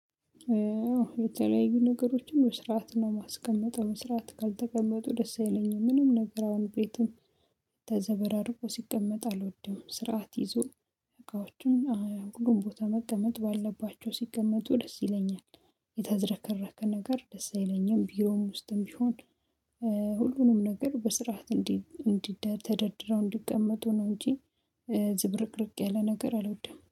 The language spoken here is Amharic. የተለያዩ ነገሮችን በስራአት ነው የማስቀመጠው በስራአት ካልተቀመጡ ደስ አይለኝም ምንም ነገር አሁን ቤትም ተዘበራርቆ ሲቀመጥ አልወድም ስርዓት ይዞ እቃዎችን ሁሉም ቦታ መቀመጥ ባላቸው ሲቀመጡ ደስ ይለኛል። የተዘረከረከ ነገር ደስ አይለኝም ቢሮም ውስጥም ቢሆን ሁሉንም ነገር በስርዓት እንዲእንዲደተደርድረው እንዲቀመጡ ነው እንጂ ዝብርቅርቅ ያለ ነገር አልወድም